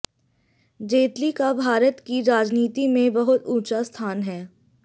जेतली का भारत की राजनीति में बहुत ऊंचा स्थान है